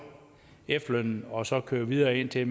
efterlønnen og så køre videre indtil